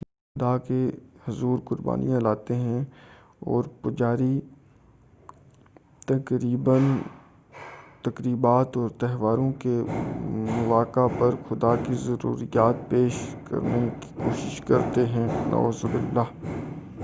لوگ خدا کے حضور قربانیاں لاتے تھے اور پجاری تقریبات اور تہواروں کے مواقع پر خدا کی ضروریات پیش کرنے کی کوشش کرتے تھے نعوذ باللہ